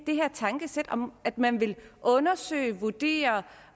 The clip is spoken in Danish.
det her tankesæt om at man vil undersøge vurdere og